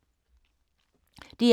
DR K